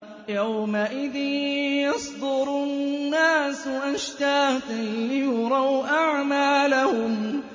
يَوْمَئِذٍ يَصْدُرُ النَّاسُ أَشْتَاتًا لِّيُرَوْا أَعْمَالَهُمْ